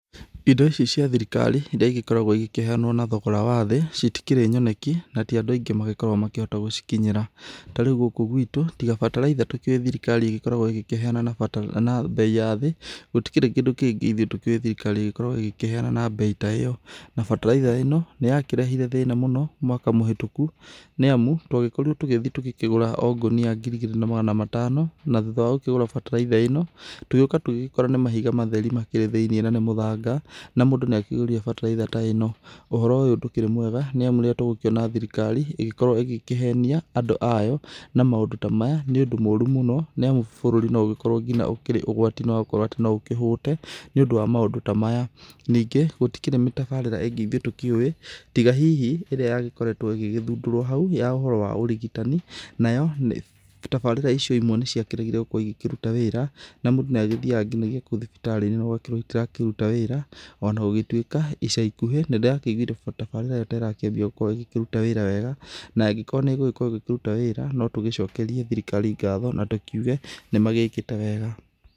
Indo ici cia thirikari irĩa ĩgĩkoragwo ĩgĩkĩheanwo na thogora wa thĩ citikĩrĩ nyoneki na tĩ andũ aingĩ magĩkoragwo makĩhota gũcikinyĩra. Ta rĩũ gũkũ gwĩtũ tiga bataraitha tũ kĩũĩ thirikari ĩgĩ kĩheana na mbei ya thĩ gũtirĩ kĩndũ kĩngĩ ithũĩ tũ kĩu thirikari ĩgĩkoragwo ĩgĩkĩheana na mbei ta ĩyo na bataraitha ĩno nĩya kĩrehire thĩna mũno mwaka mũhĩtũkũ nĩ amũ twagĩkorirwo tũgĩthiĩ tũgĩkĩgũra o ngũnia ngiri igĩrĩ na magana matano. Na thũtha wagũkĩgũra bataraitha ĩno tũgĩũka tũgĩkora nĩ mahiga matherĩ makĩrĩ thĩ~inĩ nanĩ mũthanga na mũndũ nĩ akĩgũrire bataraitha ĩno. Ũhoro ũyũ ndũkĩrĩ mwega nĩ amũ rĩrĩa tũgũkĩona thirikari ĩgĩkorwo ĩgĩkĩhenia andũ ayo na maũndũ ta maya nĩ ũndũ mũrũ mũno nĩ amũ bũrũri no ũgĩkorwo ngĩnya ũkĩrĩ ũgwatinĩ wagũkorwo atĩ no ũkĩhũte nĩũndũ wa maũndũ ta maya. Nĩngĩ gũtikĩrĩ mĩtabarĩra ĩngĩ ithũĩ tũkĩũĩ tiga hĩhĩ ĩrĩa yagĩkoretwo ĩgĩgĩthũndũrwo haũ ya ũhoro wa ũrigitani nayo, tabarĩra icio imwe nĩ ciakĩregire gũkorwo ĩgĩkĩrũta wĩra na mũndũ nĩ agĩthiaga nginyagia kũu thibitarĩ no ũgakĩrwo itira kĩrũta wĩra. Ona gũgĩtwĩka ica ikũhĩ nĩ ndĩrakĩigũire ta tabarĩra ĩyo taĩrakĩambia gũkorwo ĩgĩ kĩrũta wĩra wega na angĩkorwo nĩ ĩgũkorwo ĩgĩkĩrũta wĩra no tũgĩcokerĩe thirikari ngatho na tũkiũge nĩ magĩkĩte wega.